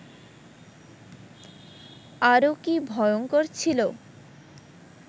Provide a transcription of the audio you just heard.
আরও কি ভয়ঙ্কর ছিল